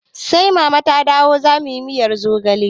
Sai mama ta dawo zamuyi miyar zogale